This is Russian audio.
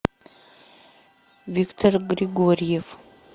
виктор григорьев